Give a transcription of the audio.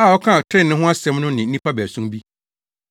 a ɔkaa trenee ho asɛm no ne nnipa baason bi.